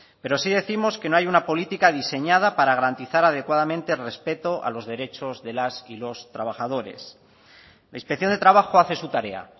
pero sí décimos que no hay una política diseñada para garantizar adecuadamente el respeto a los derechos de las y los trabajadores la inspección de trabajo hace su tarea